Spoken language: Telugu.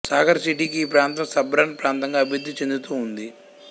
సాగర్ సిటీకి ఈ ప్రాంతం సబర్బన్ ప్రాంతంగా అభివృద్ధి చెందుతూ ఉంది